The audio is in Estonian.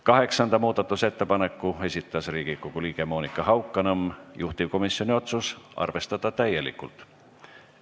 Kaheksanda muudatusettepaneku on esitanud Riigikogu liige Monika Haukanõmm, juhtivkomisjoni otsus on arvestada täielikult.